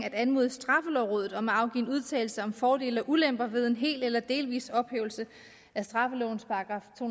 at anmode straffelovrådet om at afgive en udtalelse om fordele og ulemper ved en hel eller delvis ophævelse af straffelovens § to